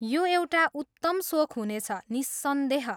यो एउटा उत्तम सोख हुनेछ, निस्सन्देह।